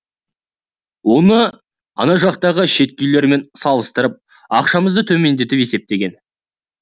оны ана жақтағы шеткі үйлермен салыстарып ақшамызды төмендетіп есептеген